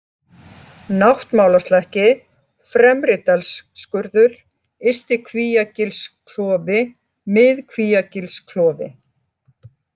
Náttmálaslakki, Fremridalsskurður, Ysti-Kvíagilsklofi, Mið-Kvíagilsklofi